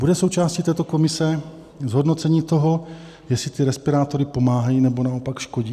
Bude součástí této komise zhodnocení toho, jestli ty respirátory pomáhají, nebo naopak škodí?